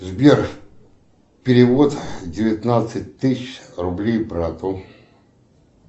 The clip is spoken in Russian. сбер перевод девятнадцать тысяч рублей брату